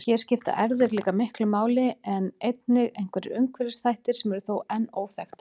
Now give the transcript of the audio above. Hér skipta erfðir því miklu máli en einnig einhverjir umhverfisþættir sem eru þó enn óþekktir.